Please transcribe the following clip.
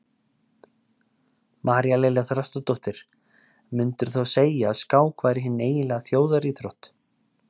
María Lilja Þrastardóttir: Myndirðu þá segja að skák væri hin eiginlega þjóðaríþrótt?